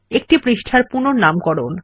একটি পৃষ্ঠার পুনঃনামকরণ